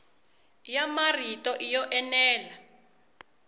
ya marito i yo enela